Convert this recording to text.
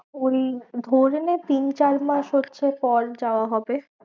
ওই ধরেনে তিন চার মাস হচ্ছে পর যাওয়া হবে।